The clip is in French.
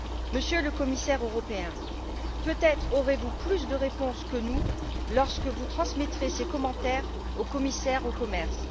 Monsieur le Commissaire européen, peut être aurez vous plus de réponses que nous lorsque vous transmettrez ces commentaires au commissaire au commerce.